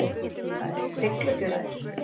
Siglufjörður